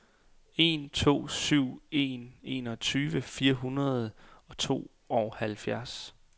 en to syv en enogtyve fire hundrede og tooghalvfjerds